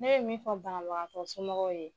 Ne be min fɔ banabagatɔ somɔgɔw ye